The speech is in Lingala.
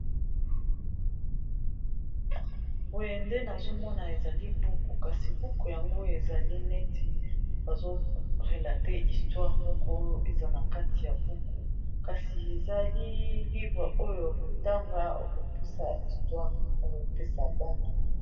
boye nde nazomona ezali buku kasi buku yango ezali neti bazorelate istware moko eza na kati ya buku kasi ezali livre oyo akotanga okopesa istware nokopesa bana